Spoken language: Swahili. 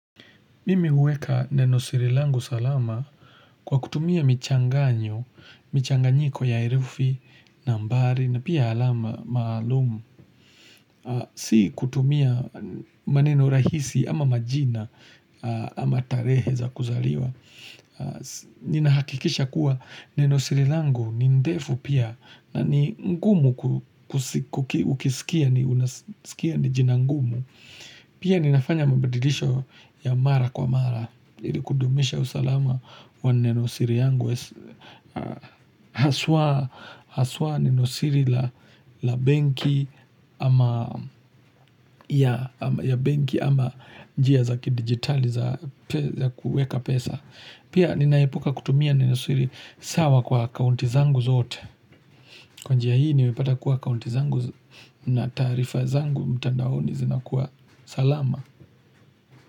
Mimi uweka neno sirilangu salama kwa kutumia michanganyo, michanganyiko ya irufi, nambari, na pia alama, maalumu. Sii kutumia maneno rahisi ama majina ama tarehe za kuzaliwa. Ninahakikisha kuwa neno sirilangu ni ndefu pia na ni ngumu ukisikia ni jina ngumu. Pia ninafanya mabadilisho ya mara kwa mara, ilikudumisha usalama wa nenosiri yangu, haswa nenosiri la benki ya benki ama njia zaki digitali za kuweka pesa. Pia ninaipuka kutumia nenoswiri sawa kwa kaunti zangu zote Kwa njia hii nimepata kuwa kaunti zangu na tarifa zangu mtandaoni zina kuwa salama.